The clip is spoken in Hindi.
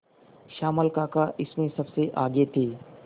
श्यामल काका इसमें सबसे आगे थे